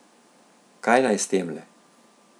Kaj naj s temle?